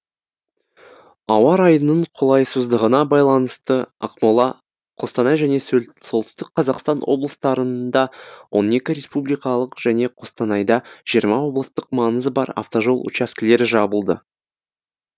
ауа райының қолайсыздығына байланысты ақмола қостанай және солтүстік қазақстан облыстарында он екі республикалық және қостанайда жиырма облыстық маңызы бар автожол учаскілері жабылды